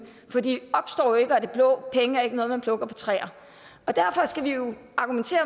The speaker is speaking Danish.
for de opstår jo af det blå penge er ikke noget man plukker fra træer og derfor skal vi jo argumentere